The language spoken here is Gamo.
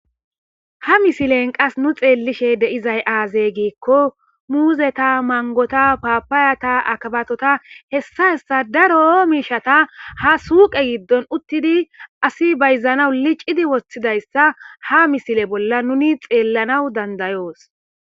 Ha misilee nu qas xeellishee de7izay aazee giikko muuzetha, manggotha paappayatha,akabaathotha hessa hessa daro miishshatha ha suuqe giddon uththidi asi bayzzanawu licidi woththidayssa ha misile bolla nuuni xeellanawu danddayoos.